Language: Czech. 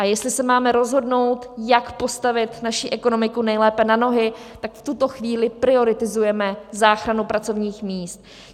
A jestli se máme rozhodnout, jak postavit naši ekonomiku nejlépe na nohy, tak v tuto chvíli prioritizujeme záchranu pracovních míst.